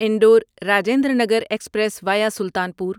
Indore Rajendranagar express via Sultanpur